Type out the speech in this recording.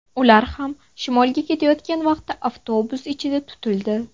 Ular ham shimolga ketayotgan paytda avtobus ichida tutildi.